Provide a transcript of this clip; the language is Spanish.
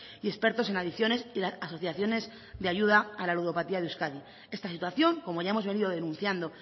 y expertos en adicciones y las asociaciones de ayuda a la ludopatía de euskadi esta situación como ya hemos venido denunciando